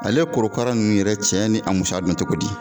Ale korokara ninnu yɛrɛ cɛya ni a musoya dɔn cogo di